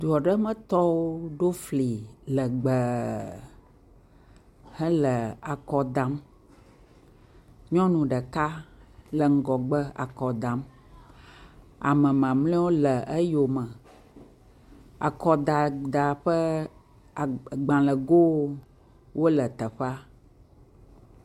Du aɖemetɔwo ɖo fli lɛgbɛɛɛ hele akɔ dam. Nyɔnu ɖeka le ŋgɔgbe akɔ dam. Ame mamlɛwo le eyome. Akɔdada ƒe aa gbalẽgowo wole teƒea.